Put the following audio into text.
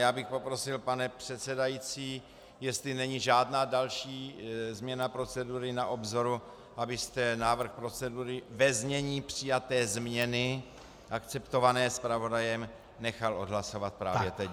Já bych poprosil, pane předsedající, jestli není žádná další změna procedury na obzoru, abyste návrh procedury ve znění přijaté změny akceptované zpravodajem nechal odhlasovat právě teď.